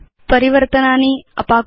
परिवर्तनानि अपाकुर्म